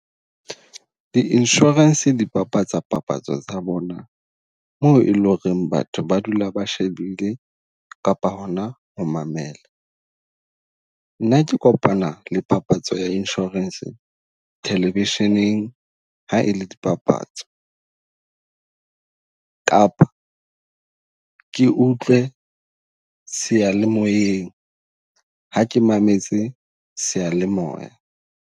Di-insurance di papatsa papatso tsa bona, moo e leng ho re batho ba dula ba shebile kapa hona ho mamela. Nna ke kopana le papatso ya insurance television-eng ha e le di papatso, kapa ke utlwe seyalemoyeng ha ke mametse sealemoya.